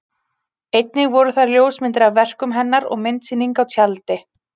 Einnig voru þar ljósmyndir af verkum hennar og myndasýning á tjaldi.